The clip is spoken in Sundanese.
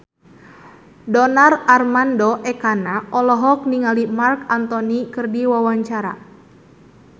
Donar Armando Ekana olohok ningali Marc Anthony keur diwawancara